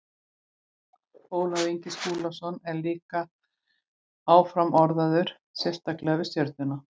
Ólafur Ingi Skúlason er líka áfram orðaður sterklega við Stjörnuna.